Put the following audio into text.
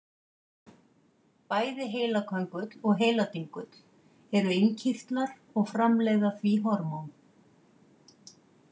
Bæði heilaköngull og heiladingull eru innkirtlar og framleiða því hormón.